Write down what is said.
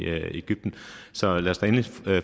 egypten så lad os da endelig